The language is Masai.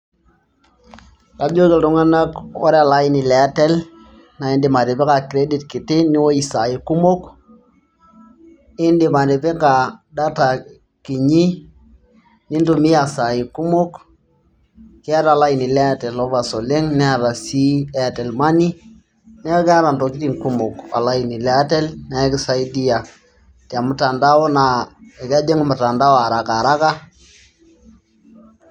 kajoki iltung'anak ore ele aini lee artel naa idim atipika kredit kiti niwuosh isaai kumok nidim atipika ,data kiti niwuosh isaai kumok keeta elaini le artel overs kumok oleng', neeku keeta ntokitin kumok neeku kisaidia te mtandao naa kejing' mutandao araka.